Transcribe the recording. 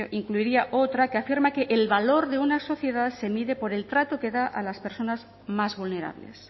incluiría otra que afirma que el valor de una sociedad se mide por el trato que da a las personas más vulnerables